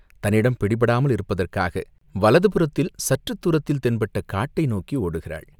தன்னிடம் பிடிபடாமல் இருப்பதற்காக வலதுபுறத்தில் சற்றுத் தூரத்தில் தென்பட்ட காட்டை நோக்கி ஓடுகிறாள்.